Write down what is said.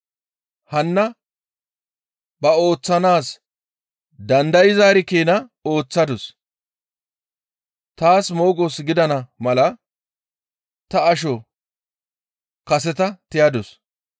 Hanna ba ooththanaas dandayzaari keena ooththadus. Taas moogos gidana mala ta asho kaseta tiyadus.